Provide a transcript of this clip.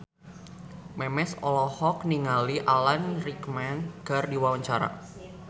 Memes olohok ningali Alan Rickman keur diwawancara